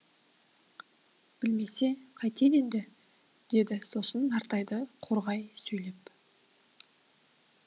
білмесе қайтеді енді деді сосын нартайды қорғай сөйлеп